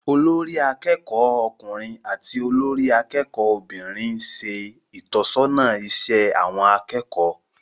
Olórí akẹ́kọ̀ọ́ ọkùnrin àti olórí akẹ́kọ̀ọ́ obìnrin ń ṣe ìtọ́sọ́nà iṣẹ́ àwọn akẹ́kọ̀ọ́